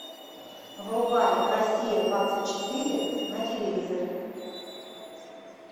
врубай россия двадцать четыре на телевизоре